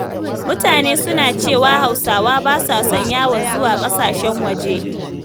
Mutane suna cewa Hausawa ba sa son yawan zuwa ƙasashen waje.